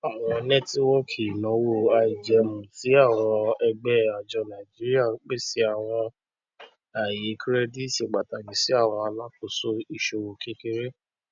àwọn nẹtiwòkì ìnáwó àìjẹmú ti àwọn ẹgbẹ ajọ naijiria ń pèsè àwọn àyè kirẹdìtì pàtàkì sí àwọn alákóso ìṣòwò kékeré